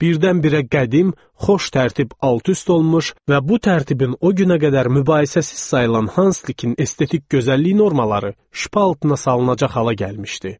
Birdən-birə qədim, xoş tərtib alt-üst olmuş və bu tərtibin o günə qədər mübahisəsiz sayılan Hanslikin estetik gözəllik normaları şpal altına salınacaq hala gəlmişdi.